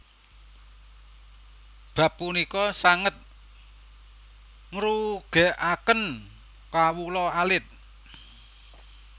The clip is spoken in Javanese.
Bab punika sanget ngrugèkaken kawula alit